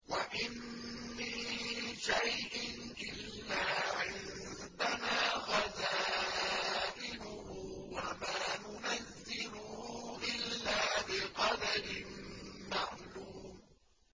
وَإِن مِّن شَيْءٍ إِلَّا عِندَنَا خَزَائِنُهُ وَمَا نُنَزِّلُهُ إِلَّا بِقَدَرٍ مَّعْلُومٍ